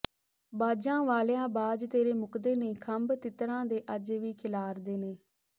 ਬਾਜਾਂ ਵਾਲ਼ਿਆ ਬਾਜ ਤੇਰੇ ਮੁੱਕਦੇ ਨਹੀਂ ਖੰਭ ਤਿੱਤਰਾਂ ਦੇ ਅੱਜ ਵੀ ਖਿਲਾਰਦੇ ਨੇ